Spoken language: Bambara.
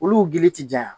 Olu gili ti janya